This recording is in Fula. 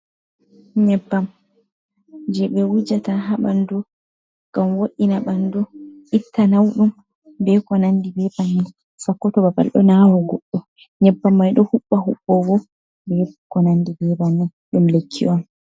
Nyebbam, je be wujata ha banɗu ngam wo’ina banɗu, itta nauɗum, be ko nanɗi be banin sakko to babal ɗo nawa goɗɗo. Nyebbam mai ɗo huɓba hubogo be ko nanɗi be bannin. Ɗum lekki on.